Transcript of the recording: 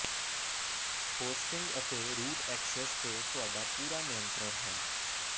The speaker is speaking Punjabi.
ਹੋਸਟਿੰਗ ਅਤੇ ਰੂਟ ਐਕਸੈਸ ਤੇ ਤੁਹਾਡਾ ਪੂਰਾ ਨਿਯੰਤਰਣ ਹੈ